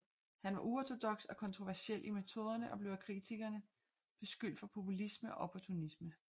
Han var uortodoks og kontroversiel i metoderne og blev af kritikere beskyldt for populisme og opportunisme